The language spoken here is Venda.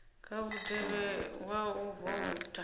kha mutevhe wa u voutha